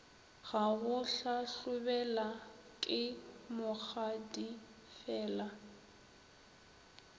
ya go hlahlobela ke mokgadifela